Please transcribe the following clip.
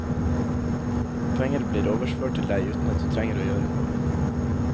Penger blir overført til deg uten at du trenger å gjøre noe.